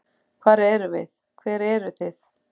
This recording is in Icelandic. Hver erum við, hver eru þið?